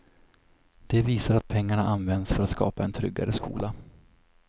Det visar att pengarna används för att skapa en tryggare skola.